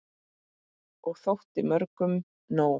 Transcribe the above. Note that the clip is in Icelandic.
Og þótti mörgum nóg.